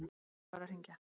Hver var að hringja?